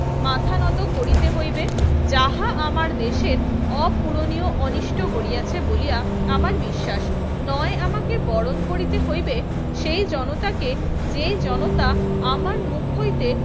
মাথা নত করিতে হইবে যাহা আমার দেশের অপূরণীয় অনিষ্ট করিয়াছে বলিয়া আমার বিশ্বাস। নয় আমাকে বরণ করিতে হইবে সেই জনতাকে যেই জনতা আমার মুখ হইতে